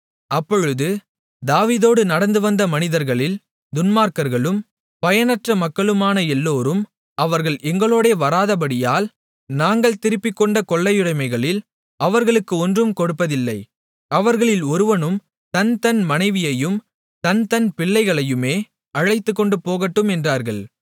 அப்பொழுது தாவீதோடு நடந்து வந்த மனிதர்களில் துன்மார்க்கர்களும் பயனற்ற மக்களுமான எல்லோரும் அவர்கள் எங்களோடே வராதபடியால் நாங்கள் திருப்பிக்கொண்ட கொள்ளையுடமைகளில் அவர்களுக்கு ஒன்றும் கொடுப்பதில்லை அவர்களில் ஒவ்வொருவனும் தன்தன் மனைவியையும் தன்தன் பிள்ளைகளையுமே அழைத்துக்கொண்டு போகட்டும் என்றார்கள்